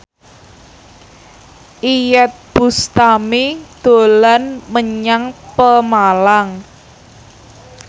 Iyeth Bustami dolan menyang Pemalang